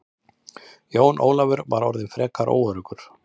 Jón Ólafur var orðinn frekar óöruggur.